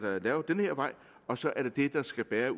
lavet den her vej og så er det den der skal bære